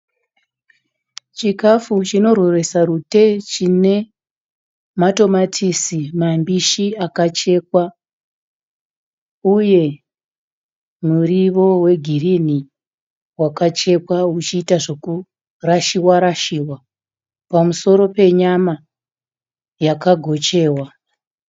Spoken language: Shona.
Chikafu chino rweresa rute, chine matomatisi mambishi akachekwa uye muriwo wegirini wakachekwa uchiita zveku rashiwa rashiwa pamusoro penyama yakagochiwa.